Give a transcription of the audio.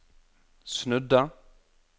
snudde